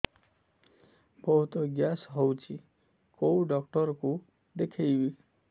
ବହୁତ ଗ୍ୟାସ ହଉଛି କୋଉ ଡକ୍ଟର କୁ ଦେଖେଇବି